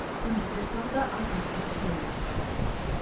туристер саны да артады деп сенеміз